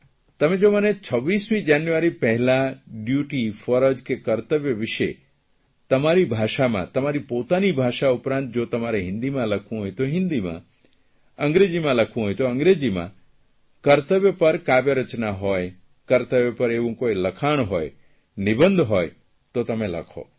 તમે જો મને 26મી જાન્યુઆર4 પહેલાં ડ્યુટી ફરજ કર્તવ્ય વિષે તમારી ભાષામાં તમારી પોતાની ભાષા ઉપરાંત જો તમારે હિંદીમાં લખવું હોય તો હીંદીમાં અંગ્રેજીમાં લખવું હોય તો અંગ્રેજીમાં કર્તવ્ય પર કાવ્યરચના હોય કર્તવ્ય પર એવું કોઇ લખાણ હોય નિબંધ હોય તો તમે લખો